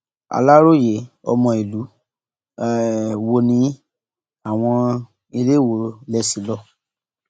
aláròye ọmọ ìlú um wo nìyìn àwọn iléèwọ lè ṣí lọ